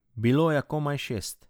Bilo je komaj šest.